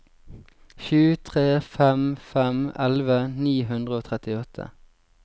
sju tre fem fem elleve ni hundre og trettiåtte